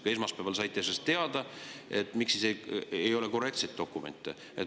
Kui esmaspäeval saite teada, miks siis ei ole korrektseid dokumente?